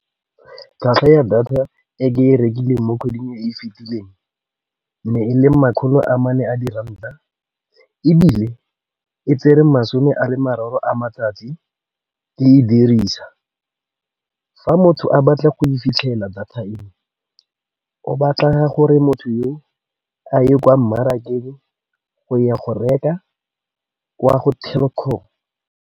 Tlhwatlhwa ya data e ke e rekileng mo kgweding e e fitileng, ne e leng makgolo amane a di ranta. Ebile e tsere masome a le mararo a matsatsi ke e dirisa, fa motho a batla go e fitlhelela data eo o batla gore motho yo a ye kwa mmarakeng go ya go reka kwa go Telkom.